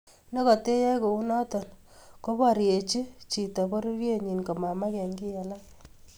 Nekatayaei kounoto, koboriechin chito pororienyi komamake kiy alak